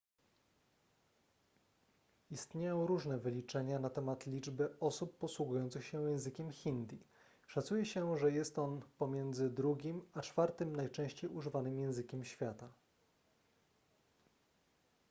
istnieją różne wyliczenia na temat liczby osób posługujących się językiem hindi szacuje się że jest on pomiędzy drugim a czwartym najczęściej używanym językiem świata